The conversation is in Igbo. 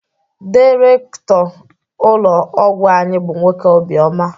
Dairekto ụlọ ọgwụ anyị bụ nwoke obi oma